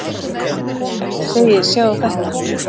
Ef ég segi Sjáðu þetta!